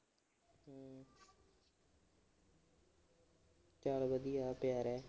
ਚਲ ਵਧੀਆ ਪਿਆ ਰਹਿ।